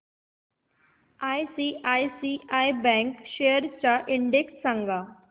ICICI bank shares चा index सांगा